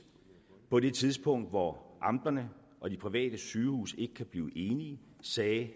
på det tidspunkt hvor amterne og de private sygehuse ikke kunne blive enige sagde at